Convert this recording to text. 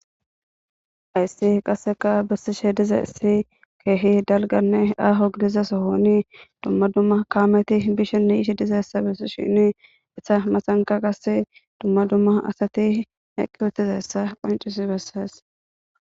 Hayssi qasseka besishe diza issi keehi dalganne aaho gidizasohooni dumma dumma kaameti bishinni ishi dizayssabes shini issa masanka qase dumma dumma asati eqqi wutizayssa qoncis bessaes